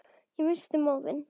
Og ég missti móðinn.